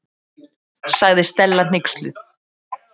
sagði Stella hneyksluð.